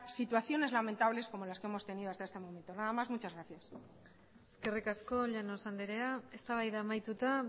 situaciones lamentables como las que hemos tenido hasta este momento nada más muchas gracias eskerrik asko llanos andrea eztabaida amaituta